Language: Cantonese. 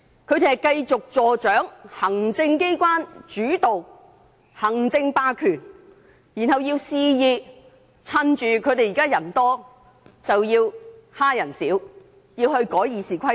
他們要繼續助長行政機關主導、行政霸權，肆意藉着他們現在佔大多數之機欺壓少數，修改《議事規則》。